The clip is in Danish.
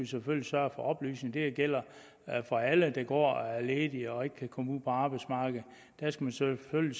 vi selvfølgelig sørge for oplysning det gælder for alle der går og er ledige og ikke kan komme ud på arbejdsmarkedet dem skal vi selvfølgelig